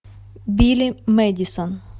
билли мэдисон